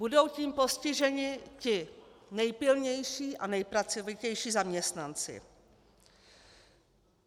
Budou tím postiženi ti nejpilnější a nejpracovitější zaměstnanci.